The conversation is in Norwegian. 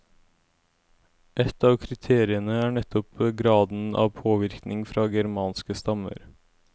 Ett av kriteriene er nettopp graden av påvirkning fra germanske stammer.